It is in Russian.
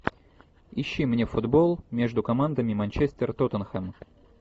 ищи мне футбол между командами манчестер тоттенхэм